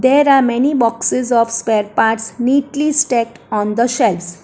There are many boxes of spare parts neatly stacked on the shelf.